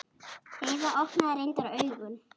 Heiða opnaði reyndar augun.